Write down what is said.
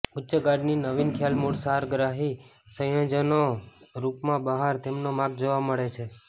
ઉચ્ચ ગાર્ડે ની નવીન ખ્યાલ મૂળ સારગ્રાહી સંયોજનો રૂપમાં બહાર તેમના માર્ગ જોવા મળે છે